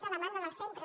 és a demanda dels centres